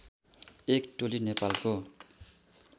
एक टोली नेपालको